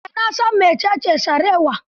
Eh, na san mecece sarewa.